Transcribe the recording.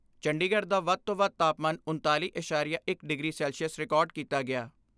ਚੰਡੀਗੜ੍ਹ ਦਾ ਵੱਧ ਤੋਂ ਵੱਧ ਤਾਪਮਾਨ ਉਣਤਾਲੀ ਐਸਾਰੀਆ ਇਕ ਡਿਗਰੀ ਸੈਲਸੀਅਸ ਰਿਕਾਰਡ ਕੀਤਾ ਗਿਆ।